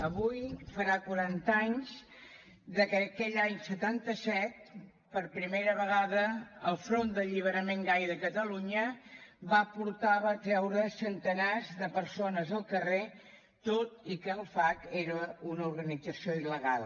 avui farà quaranta anys de que aquell any setanta set per primera vegada el front d’alliberament gai de catalunya va portar va treure centenars de persones al carrer tot i que el fagc era una organització il·legal